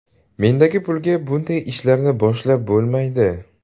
Mendagi pulga bunday ishlarni boshlab bo‘lmaydi.